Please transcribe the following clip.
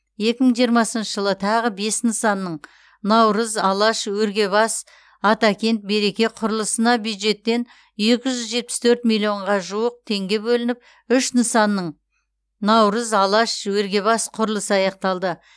екі мың жиырмасыншы жылы тағы бес нысанның наурыз алаш өргебас атакент береке құрылысына бюджеттен екі жүз жетпіс төрт миллионға жуық теңге бөлініп үш нысанның наурыз алаш өргебас құрылысы аяқталды